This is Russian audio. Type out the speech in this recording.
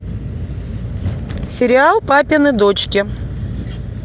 сериал папины дочки